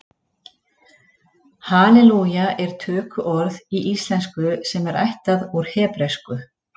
Halelúja er tökuorð í íslensku sem er ættað úr hebresku.